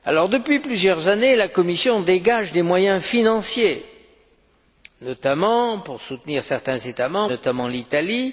Depuis plusieurs années, la Commission dégage des moyens financiers, notamment pour soutenir certains États membres, dont l'Italie.